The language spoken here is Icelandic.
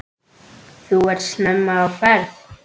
Þú ert snemma á ferð!